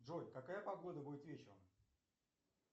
джой какая погода будет вечером